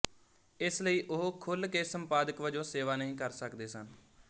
ਇਸ ਲਈ ਉਹ ਖੁੱਲ੍ਹ ਕੇ ਸੰਪਾਦਕ ਵਜੋਂ ਸੇਵਾ ਨਹੀਂ ਕਰ ਸਕਦੇ ਸਨ